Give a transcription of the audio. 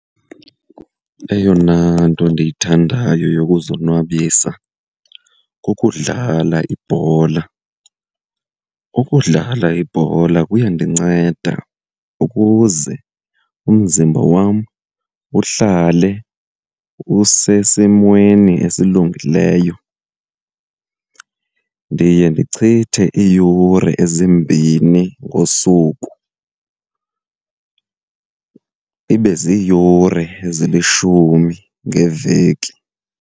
Eyona nto ndiyithandayo yokuzonwabisa kukudlala ibhola. Ukudlala ibhola kuyandinceda ukuze umzimba wam uhlale usesimweni esilungileyo. Ndiye ndichithe iiyure ezimbini ngosuku, ibe ziyure ezilishumi ngeveki.